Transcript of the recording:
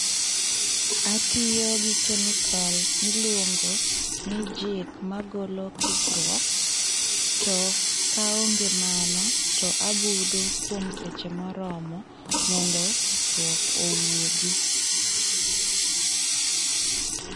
Atiyo gi kemikol mi iluongo ni jik, magolo kikruok to ka onge mano, to abudo kuom seche mo oromo mondo kikruok owuogi.